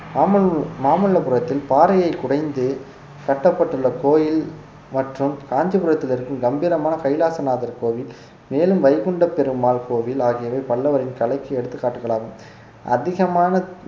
மாமல்ல~ மாமல்லபுரத்தில் பாறையை குடைந்து கட்டப்பட்டுள்ள கோயில் மற்றும் காஞ்சிபுரத்தில் இருக்கும் கம்பீரமான கைலாசநாதர் கோவில் மேலும் வைகுண்ட பெருமாள் கோவில் ஆகியவை பல்லவரின் கலைக்கு எடுத்துக்காட்டுகளாகும் அதிகமான